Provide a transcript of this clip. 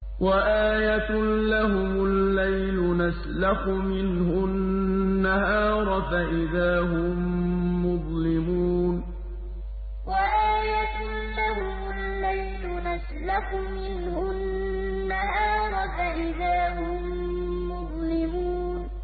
وَآيَةٌ لَّهُمُ اللَّيْلُ نَسْلَخُ مِنْهُ النَّهَارَ فَإِذَا هُم مُّظْلِمُونَ وَآيَةٌ لَّهُمُ اللَّيْلُ نَسْلَخُ مِنْهُ النَّهَارَ فَإِذَا هُم مُّظْلِمُونَ